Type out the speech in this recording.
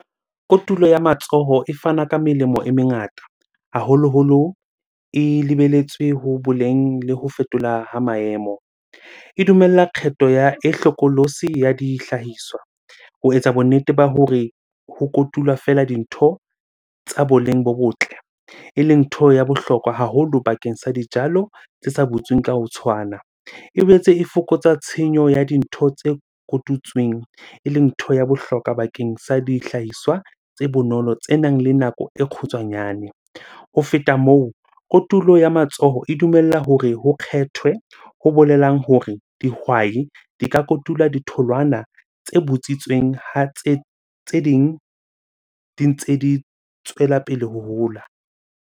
Kotulo ya matsoho e fana ka melemo e mengata haholoholo. E lebelletswe ho boleng le ho fetola ha maemo. E dumella kgetho ya e hlokolosi ya dihlahiswa ho etsa bonnete ba hore ho kotulwa feela dintho tsa boleng bo botle, eleng ntho ya bohlokwa haholo bakeng sa dijalo tse sa butsweng ka ho tshwana. E boetse e fokotsa tshenyo ya dintho tse kotutsweng, eleng ntho ya bohlokwa bakeng sa dihlahiswa tse bonolo tsenang le nako e kgutshwanyane. Ho feta moo, kotulo ya matsoho e dumella hore ho kgethwe. Ho bolelang hore dihwai di ka kotula ditholwana tse butsitsweng ha tse ding di ntse di tswela pele ho hola.